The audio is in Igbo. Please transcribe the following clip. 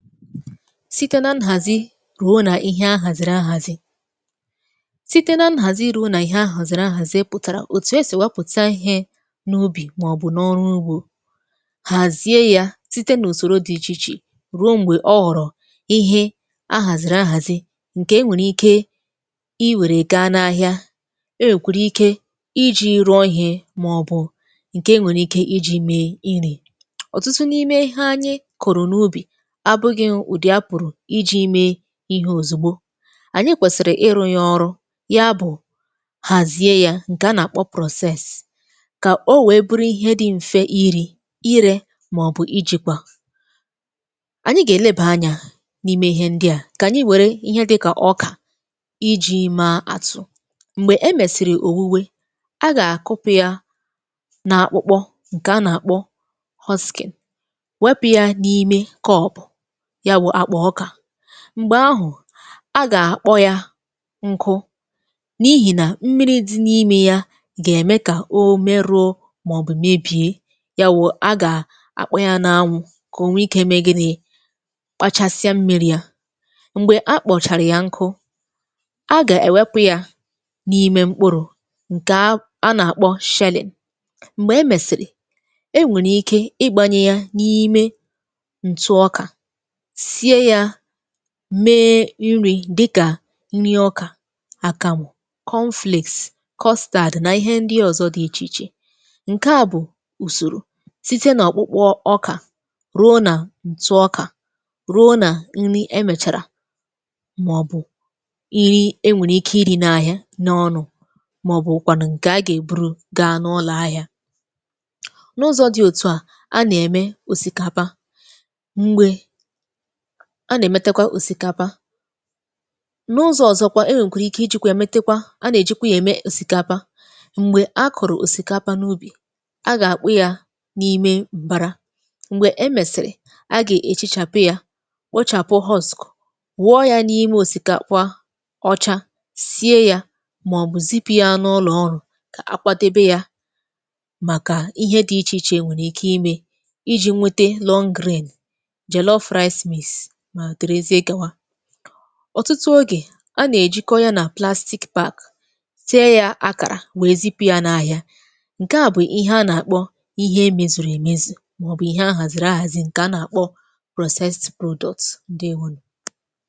Sìte na nhàzi rùo n’ihe àhàzìrì ahàzi; sịte na nhàzi rùo n’ihe àhàzìrì ahàzi pụ̀tàrà òtù esì ewepụ̀ta ihe n’ubì màọ̀bụ̀ n’ọrụ ugbȯ. Hàzie ya sịte n’ùsòro dị ichè ichè, ruo m̀gbè ọ ghọ̀rọ̀ ihe ahàzìrì ahàzi ǹkè e nwèrè ike i wèrè gaa n’ahịà;e nwèkwèrè ike iji̇ rùọ ihe, màọ̀bụ̀ ǹkè e nwèrè ike iji̇ mee nri. Ọtụtụ n’ime ihe anyị kụ̀rụ̀ n’ubì, apụghị ụdị a pụ̀rụ̀ iji̇ mee ihe òzùgbo. Anyị kwèsìrì ịrụ̇ ya ọrụ ya bụ̀, hàzie ya ǹkè a nà-àkpọ process. Kà o wèe buru ihe di m̀fẹ iri̇, irė, màọ̀bụ̀ ịjikwa. Anyị gà-èlebà anyȧ n’ime ihe ndị a;kà ànyị wère ihe di kà ọkà iji̇ ma àtụ. Mgbè e mèsìrì òwùwè, a gà-àkụpụ ya n’àkpụkpọ ǹkè a nà-àkpọ husking. Wepụ̇ ya n’ime kọ̀ọpụ̀, yà wụ akpa ọka. Mgbè ahụ̀, a gà-àkpọ ya nku n’ihì nà mmiri̇ dị̇ n’imė ya gà-ème kà o meruo màọbụ̀ mebie. Ya wụ̀ a gà-àkpọ ya n’anwụ̇ kà o nwe ikė eme gịnị̇; kpachasịa mmiri̇ ya. Mgbè a kpọ̀chàrà ya nkụ, a gà-èwepụ̇ ya n’ime mkpụrụ̀ ǹkè a a nà-àkpọ shelling. Mgbè e mèsìrì, e nwèrè ike ịgbȧnyė ya n’ime ǹtụ ọkà, sie yȧ mee nri dịkà nri ọkà, àkàmụ, cornflakes, kọstàdị̀ nà ihe ndị ọ̀zọ dị ichè ichè. Nke à bụ̀ ùsòrò site nà ọ̀kpụkpụ ọkà, ruo nà ǹtu ọkà, ruo nà nri emèchàrà, màọ̀bụ̀ nri enwèrè ike ịrị̇ n’ahịa n’ọnụ̇, màọ̀bụ̀ kwànụ̀ ǹkè a gà-èburu gaa n’ụlọ̀ ahịa. N’ụzọ̇ dị òtu à, a nà-ème òsìkàpa ;mgbe a nà-èmetekwa òsìkapa, n’ụzọ̀ ọzọ kwa e nwèkwàrà ike iji̇kwȧ ya metekwa, a nà-èjikwa yȧ ème òsìkapa. Mgbè a kụ̀rụ̀ òsìkapa n’ubì, a gà-àkpụ ya n’ime m̀bara. Mgbè e mèsìrì, a gà-èchichàpụ ya, kpochàpụ husk, wụọ ya n’ime òsìkàpa ọcha, sie ya, màọ̀bụ̀ zipi ya n’ụlọ̀ ọrụ̀, ka akwȧ debe ya; màkà ihe dị ichè ichè enwèrè ike imė iji̇ nwete long grain, jello rice mix ma dere zie gáwà. Ọtụtụ oge, a nà-èjikọ ya nà plástị̀k bag, tie ya akàrà, wèe zipụ ya n’ahịa. Nkè a bụ̀ ihe a nà-àkpọ ihe emezùrù èmezù, m̀aọbụ̀ ihe a hàzìrì ahàzì ǹkè a nà-àkpọ processed product ǹdèwo nụ.